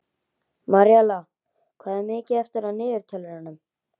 Maríella, hvað er mikið eftir af niðurteljaranum?